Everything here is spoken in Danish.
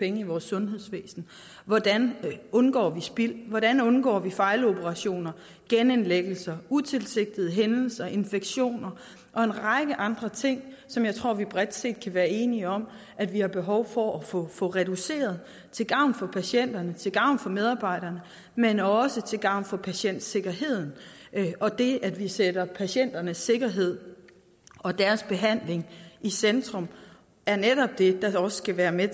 i vores sundhedsvæsen hvordan vi undgår spild hvordan vi undgår fejloperationer genindlæggelser utilsigtede hændelser infektioner og en række andre ting som jeg tror vi bredt set kan være enige om at vi har behov for at få reduceret til gavn for patienterne til gavn for medarbejderne men også til gavn for patientsikkerheden det at vi sætter patienternes sikkerhed og deres behandling i centrum er netop det der også skal være med